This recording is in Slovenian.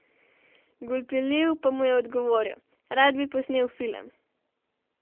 Gulpilil pa mu je odgovoril: "Rad bi posnel film.